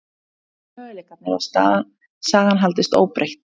Hverjir eru möguleikarnir á að sagan haldist óbreytt?